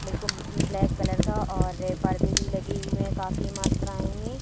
black colour का और ये पर्दे भी लगी हुई काफी मात्राएं में--